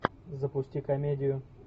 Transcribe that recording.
запусти комедию